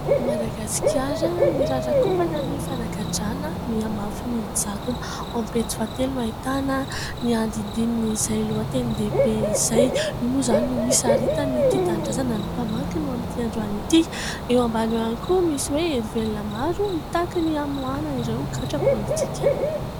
"Madagasikara mirarakopana ny fanagadrana, mihamafy ny jadona" ao amin'ny pejy fahatelo no ahitana ny andinindinin'izay lohatenin-dehibe izay. Io moa izany no hisaritan'ny Tia Tanindrazana ny mpamakiny ho amin'ity androany ity. Eo ambany eo ihany koa misy hoe : "Herivelona maro mitaky ny hamoahana ireo gadra politika".